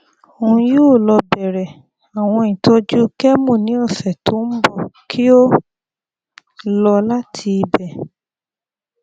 oun yoo lọ bẹrẹ awọn itọju chemo ni ọsẹ to nbọ ki o lọ lati ibẹ